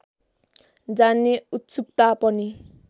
जान्ने उत्सुकता पनि